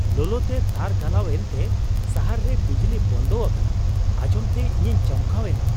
ᱞᱚᱞᱚᱛᱮ ᱛᱟᱨ ᱜᱚᱞᱟᱣ ᱮᱱᱛᱮ ᱥᱟᱦᱟᱨ ᱨᱮ ᱵᱤᱡᱽᱞᱤ ᱵᱚᱱᱫᱚ ᱟᱠᱟᱱᱟ ᱟᱧᱡᱚᱢᱛᱮ ᱤᱧᱤᱧ ᱪᱚᱢᱠᱟᱣ ᱮᱱᱟ ᱾